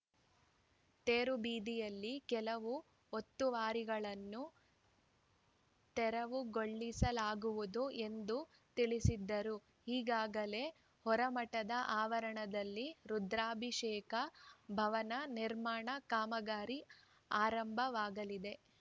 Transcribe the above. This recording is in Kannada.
ತೇರುಬೀದಿಯಲ್ಲಿ ಕೆಲವು ಒತ್ತುವರಿಗಳನ್ನು ತೆರವುಗೊಳಿಸಲಾಗುವುದು ಎಂದು ತಿಳಿಸಿದರು ಈಗಾಗಲೇ ಹೊರಮಠದ ಆವರಣದಲ್ಲಿ ರುದ್ರಾಭಿಷೇಕ ಭವನ ನಿರ್ಮಾಣ ಕಾಮಗಾರಿ ಆರಂಭವಾಗಲಿದೆ